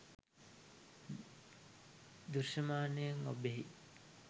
දෘශ්‍යමානයෙන් ඔබ්බෙහි